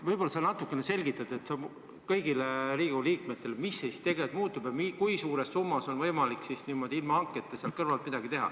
Võib-olla sa natukene selgitad kõigile Riigikogu liikmetele, mis siis tegelikult muutub ja kui suure summa ulatuses on võimalik ilma hanketa sealt kõrvalt midagi teha.